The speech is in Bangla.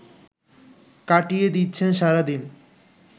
কাটিয়ে দিচ্ছেন সারাদিন